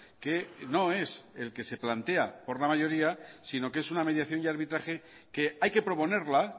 que no es el que se plantea por la mayoría sino que es una mediación y arbitraje que hay que proponerla